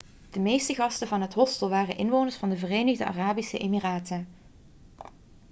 de meeste gasten van het hostel waren inwoners van de verenigde arabische emiraten